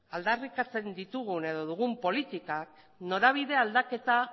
aldarrikatzen ditugun edo dugun politikak norabide aldaketa